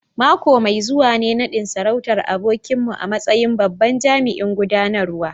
Mako mai zuwa ne nadin sarautar abokinmu a matsayin babban jami'in gudanarwa